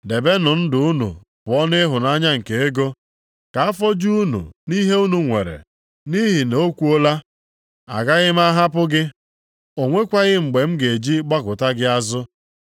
Debenụ ndụ unu pụọ nʼịhụnanya nke ego, ka afọ ju unu nʼihe unu nwere, nʼihi na o kwuola, “Agaghị m ahapụ gị. O nwekwaghị mgbe m ga-eji gbakụta gị azụ.” + 13:5 \+xt Dit 31:6\+xt*